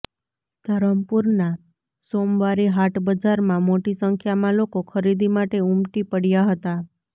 ધરમપુરના સોમવારી હાટ બજારમાં મોટી સંખ્યામાં લોકો ખરીદી માટે ઉમટી પડ્યા હતા